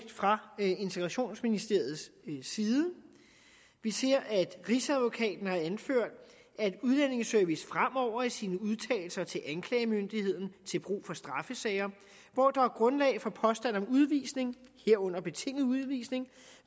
fra integrationsministeriets side at rigsadvokaten har anført at udlændingeservice fremover i sine udtalelser til anklagemyndigheden til brug for straffesager hvor der er grundlag for påstand om udvisning herunder betinget udvisning